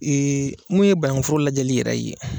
Ee mun ye banankun foro lajɛli yɛrɛ ye.